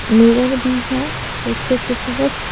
mirror भी है पीछे की तरफ --